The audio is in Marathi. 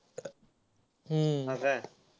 हम्म